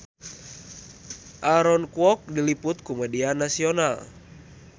Aaron Kwok diliput ku media nasional